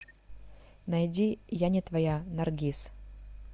найди я не твоя наргиз